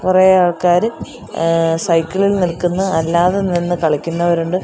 കുറെ ആൾക്കാര് ഏഹ് സൈക്കിൾ ഇൽ നിൽക്കുന്ന് അല്ലാതെ നിന്ന് കളിക്കുന്നവരുണ്ട്.